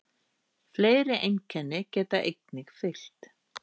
Fleiri einkenni geta einnig fylgt.